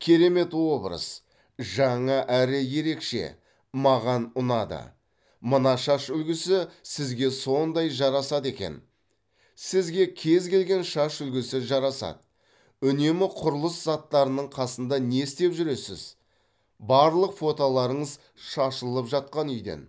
керемет образ жаңа әрі ерекше маған ұнады мына шаш үлгісі сізге сондай жарасады екен сізге кез келген шаш үлгісі жарасады үнемі құрылыс заттарының қасында не істеп жүресіз барлық фотларыңыз шалылып жатқан үйден